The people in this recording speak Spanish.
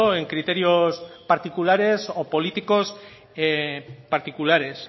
en criterios particulares o políticos particulares